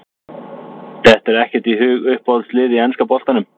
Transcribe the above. Dettur ekkert í hug Uppáhalds lið í enska boltanum?